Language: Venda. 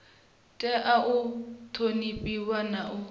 tea u ṱhonifhiwa na u